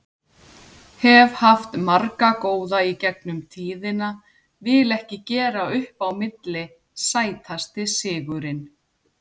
Hef haft marga góða í gegnum tíðina, vil ekki gera upp á milli Sætasti sigurinn?